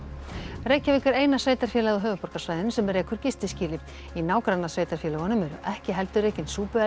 Reykjavík er eina sveitarfélagið á höfuðborgarsvæðinu sem rekur í nágrannasveitarfélögunum eru ekki heldur rekin